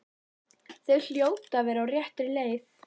Þau hljóta að vera á réttri leið.